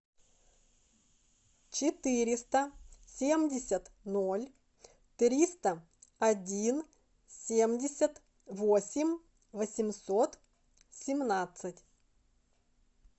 четыреста семьдесят ноль триста один семьдесят восемь восемьсот семнадцать